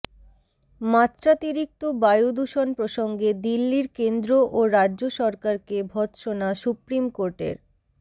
মাত্রাতিরিক্ত বায়ুদূষণ প্রসঙ্গে দিল্লির কেন্দ্র ও রাজ্য সরকারকে ভত্সনা সুপ্রিম কোর্টের